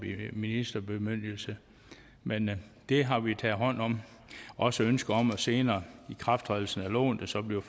ministerbemyndigelse men det har vi taget hånd om og også ønsket om en senere ikrafttrædelse af loven der så bliver